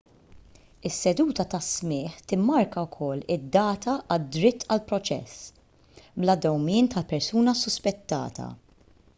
is-seduta ta' smigħ timmarka wkoll id-data għad-dritt għal proċess bla dewmien tal-persuna suspettata